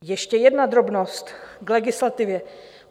Ještě jedna drobnost k legislativě.